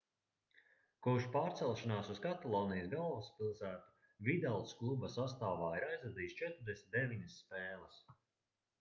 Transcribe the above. kopš pārcelšanās uz katalonijas galvaspilsētu vidals kluba sastāvā ir aizvadījis 49 spēles